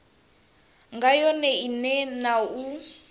nga yone ine na u